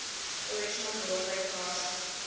original broadway cast